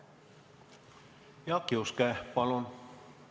Jaak Juske, palun!